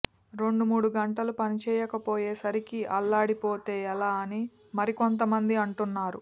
రెండు మూడు గంటలు పనిచేయకపోయేసరికే అల్లాడిపోతే ఎలా అని మరికొంతమంది అంటున్నారు